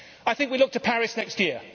I think we look to Paris next year.